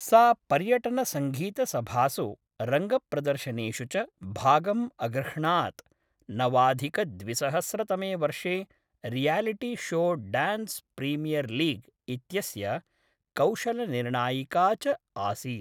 सा पर्यटनसङ्गीतसभासु, रङ्गप्रदर्शनेषु च भागम् अगृह्णात्, नवाधिकद्विसहस्रतमे वर्षे reality show Dance Premier League इत्यस्य कौशलनिर्णायिका च आसीत्।